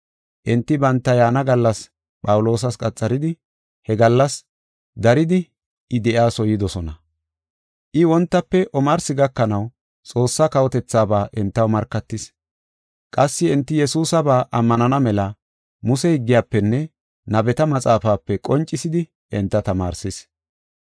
Enti banta yaana gallas Phawuloosas qaxaridi, he gallas daridi I de7iyasuwa yidosona. I wontafe omarsi gakanaw Xoossaa kawotethaaba entaw markatis. Qassi enti Yesuusaba ammanana mela Muse higgiyafenne nabeta maxaafape qoncisidi enta tamaarsis.